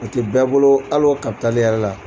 O tƐ bɛɛ bolo ali i yɛrɛ la